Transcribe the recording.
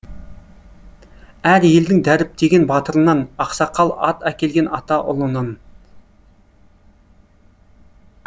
әр елдің дәріптеген батырынан ақсақал ат әкелген ата ұлынан